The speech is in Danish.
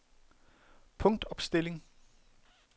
punktopstilling